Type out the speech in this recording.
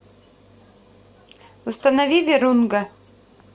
установи вирунга